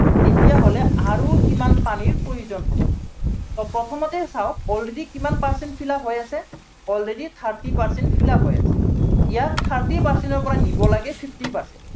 তেতিয়া হলে আৰু কিমান পানীৰ প্ৰয়োজন হব প্ৰথমতেই চাওক already কিমান percent fill up হৈ আছে, already thirty percent fill up হৈ আছে। ইয়াত thirty percent ৰ পৰা নিব লাগে fifty percent